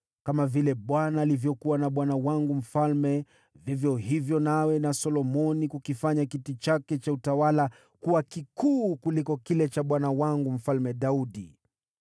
Kama vile Bwana alivyokuwa na bwana wangu mfalme, vivyo hivyo na awe na Solomoni kukifanya kiti chake cha utawala kuwa kikuu kuliko kile cha bwana wangu Mfalme Daudi!”